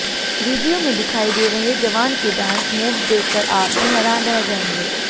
video में दिखाई दे रहे जवान के डांस मूव्स देखकर आप भी हैरान रह जाएंगे